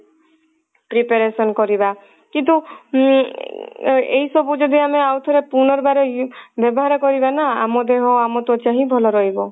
preparation କରିବା କିନ୍ତୁ ଉଁ ଏଇ ସବୁ ଯଦି ଆମେ ଆଉଥରେ ପୁନର୍ବାର ବ୍ୟବହାର କରିବା ନା ଆମ ଦେହ ଆମ ତ୍ଵଚା ହିଁ ଭଲ ରହିବ